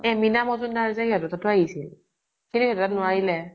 এই মীনা মযুম্দাৰ যে সিহঁতৰ তাতো আহিছিল। কিন্তু সিহঁতৰ তাত নোৱাৰিলে।